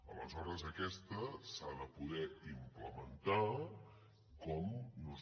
aleshores aquesta s’ha de poder implementar com nosaltres